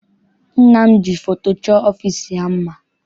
Nna m ji foto chọọ ọfịịsi ya mma.